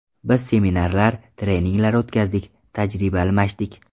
Biz seminarlar, treninglar o‘tkazdik, tajriba almashdik.